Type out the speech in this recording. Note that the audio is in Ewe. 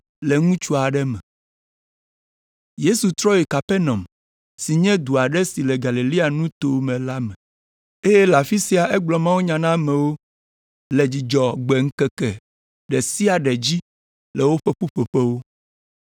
Yesu trɔ yi Kapernaum si nye du aɖe si le Galilea nuto me la me, eye le afi sia egblɔ mawunya na amewo le Dzudzɔgbe ŋkeke ɖe sia ɖe dzi le woƒe ƒuƒoƒewo.